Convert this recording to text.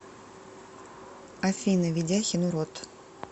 афина ведяхин урод